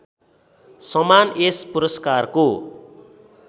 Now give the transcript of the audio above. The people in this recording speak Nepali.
समान यस पुरस्कारको